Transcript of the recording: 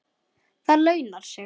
Það launar sig.